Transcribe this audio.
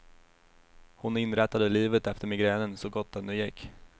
Hon inrättade livet efter migränen, så gott det nu gick.